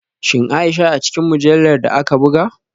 Shin Aisha a cikin mujallar da aka buga?